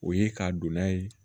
O ye ka donna ye